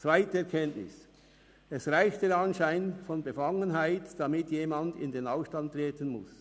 Zweite Erkenntnis: Es reicht der Anschein von Befangenheit, damit jemand in den Ausstand treten muss.